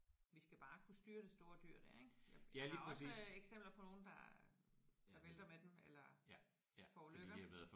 Vi skal bare kunne styre det store dyr der ik. Jeg der er også eksempler på nogen der der vælter med den eller forulykker